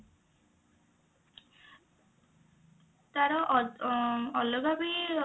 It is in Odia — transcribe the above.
ତାର ଅ ଅଲଗା ବି